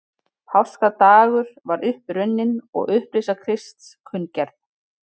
Páskadagur var upp runninn og upprisa Krists kunngerð.